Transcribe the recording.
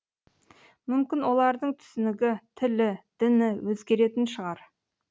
мүмкін олардың түсінігі тілі діні өзгеретін шығар